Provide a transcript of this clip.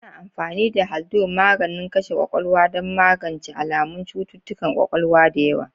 Ana amfani da Haldol, maganin kashe ƙwaƙwalwa, don magance alamun cututtukan ƙwaƙwalwa da yawa.